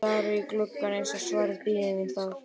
Ég stari í gluggann eins og svarið bíði mín þar.